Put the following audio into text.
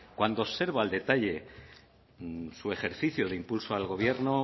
cuando observo el detalle su ejercicio de impulso al gobierno